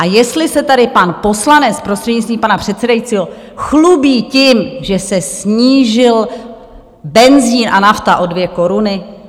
A jestli se tady pan poslanec, prostřednictvím pana předsedajícího, chlubí tím, že se snížil benzin a nafta o dvě koruny?